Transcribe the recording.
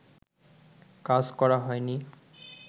কাজ করা হয়নি